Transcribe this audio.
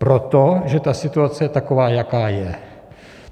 Proto, že ta situace je taková, jaká je.